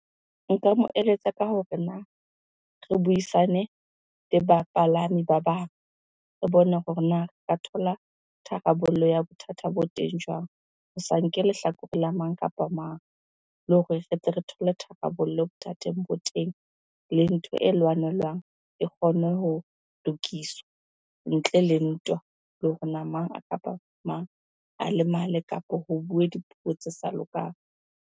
Nka mo eletsa ka hore na re buisane le bapalami ba bang, re bone hore na thola tharabollo ya bothata bo teng jwang? Ho sa nke lehlakore la mang kapa mang, le hore re tle re thole tharabollo bothateng bo teng. Le ntho e lwanelwang e kgone ho lokiswa ntle le ntwa, le hore na mang kapa mang a lemale kapa ho bue dipuo tse sa lokang.